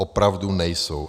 Opravdu nejsou.